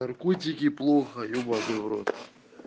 наркотики плохо ебанный в рот